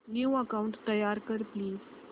new account तयार कर please